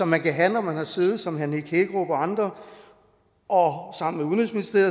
man kan have når man har siddet som herre nick hækkerup og andre og